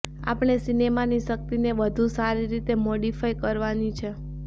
આપણે સિનેમાની શક્તિને વધુ સારી રીતે મોડિફાઈ કરવાની છે